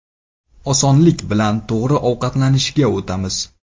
Osonlik bilan to‘g‘ri ovqatlanishga o‘tamiz.